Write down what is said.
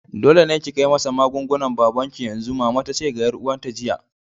Dole ne ki kai masa magungunan babanki yanzu! mama tace ga yar uwata jiya.